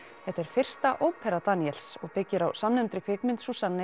þetta er fyrsta ópera Daníels og byggir á samnefndri kvikmynd